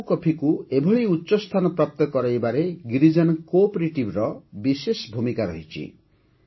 ଆରାକୁ କଫିକୁ ଏଭଳି ଉଚ୍ଚସ୍ଥାନ ପ୍ରାପ୍ତ କରାଇବାରେ ଗିରିଜନ Co operativeର ବିଶେଷ ଭୂମିକା ରହିଛି